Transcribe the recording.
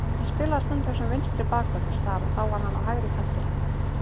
Ég spilaði stundum sem vinstri bakvörður þar og þá var hann á hægri kantinum.